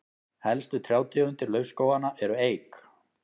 helstu trjátegundir laufskóganna eru eik